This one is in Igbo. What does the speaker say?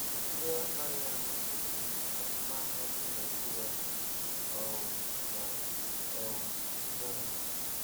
Ndị amaghi ama mechiri azụmahịa ndị Naijiria um na um Ghana